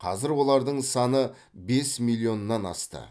қазір олардың саны бес миллионнан асты